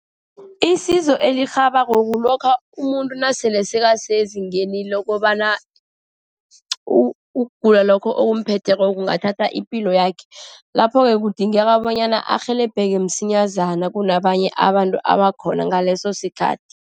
Isizo elirhabako, kulokha umuntu nasele sebasezingeni lokobana ukugula lokho okumumetheko kungathatha ipilo yakhe. Lapho-ke kudingeka bonyana arhelebheke msinyazana kunabanye abantu abakhona ngaleso sikhathi.